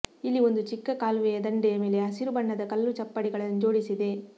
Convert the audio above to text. ಇಲ್ಲಿ ಒಂದು ಚಿಕ್ಕ ಕಾಲುವೆಯ ದಂಡೆಯ ಮೇಲೆ ಹಸಿರು ಬಣ್ಣದ ಕಲ್ಲು ಚಪ್ಪಡಿಗಳನ್ನು ಜೋಡಿಸಿದೆ